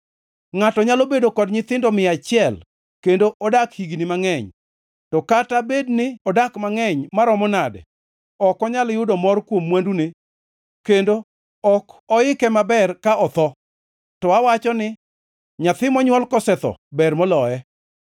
Ngʼato nyalo bedo kod nyithindo mia achiel kendo odak higni mangʼeny; to kata bed ni odak mangʼeny maromo nade, ka ok onyal yudo mor kuom mwandune kendo ok oike maber ka otho, to awacho ni nyathi monywol kosetho ber moloye.